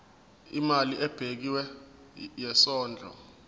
imali ebekiwe yesondlo